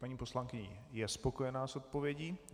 Paní poslankyně je spokojená s odpovědí?